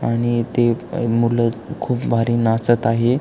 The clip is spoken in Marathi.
आणि ते मूल खूप भारी नाचत आहे.